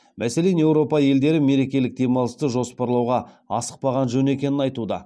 мәселен еуропа елдері мерекелік демалысты жоспарлауға асықпаған жөн екенін айтуда